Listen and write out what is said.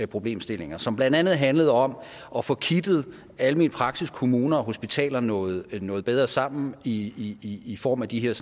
problemstillinger som blandt andet handlede om at få kittet almen praksis kommuner og hospitaler noget noget bedre sammen i i form af de her